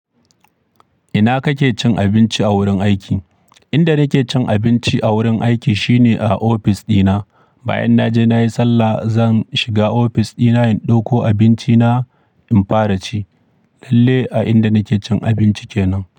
Ina kake cin abinci a wurin aiki? Inda nake cin abinci a wurin aiki shine a ofis dina. Bayan naje nayi sallah zan shiga ofis dina in ɗauko abinci na in fara ci. Lalle a inda nake cin abinci kenan.